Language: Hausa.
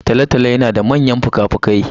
Tolotolo yana da manyan fukafuki.